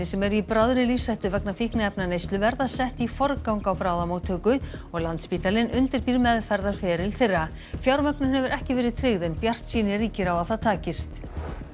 sem eru í bráðri lífshættu vegna fíkniefnaneyslu verða sett í forgang á bráðamóttöku og Landspítalinn undirbýr þeirra fjármögnun hefur ekki verið tryggð en bjartsýni ríkir á að það takist